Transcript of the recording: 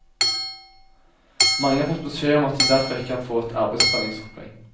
Mange har fått beskjed om at de derfor ikke kan få et arbeidstreningsopplegg.